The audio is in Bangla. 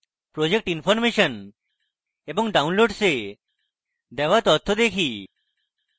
project information এবং downloads এ দেওয়া তথ্য দেখি